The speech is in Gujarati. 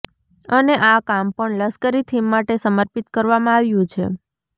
અને આ કામ પણ લશ્કરી થીમ માટે સમર્પિત કરવામાં આવ્યું છે